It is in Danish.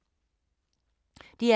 DR K